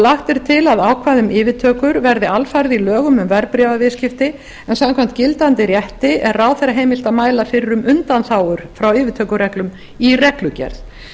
lagt er til að ákvæði um yfirtökur verði alfarið í lögum um verðbréfaviðskipti en samkvæmt gildandi rétti er ráðherra heimilt að mæla fyrir um undanþágur frá yfirtökureglum í reglugerð